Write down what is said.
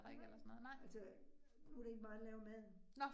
Nej, altså nu det ikke mig, der laver maden